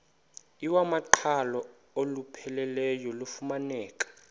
iwamaqhalo olupheleleyo lufumaneka